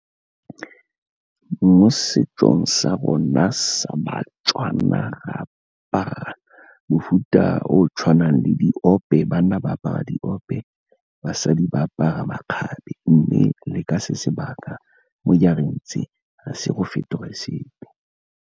Mo setsong sa rona sa baTswana re apara mofuta o o tshwanang le diope, banna ba apara diope, basadi ba apara makgabe mme le ka se sebaka mo dijareng tse ga se go fetoge sepe.